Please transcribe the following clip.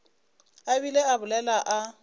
a bile a bolela a